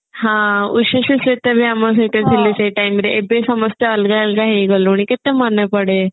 ହଁ ଉଷଶ୍ରୀ ସହିତ ବି ଆମ ସହିତ ଥିଲେ ସେଇ time ରେ ଏବେ ସମସ୍ତେ ଅଲଗା ଅଲଗା ହେଇ ଗଲୁଣି କେତେ ମନେ ପଡେ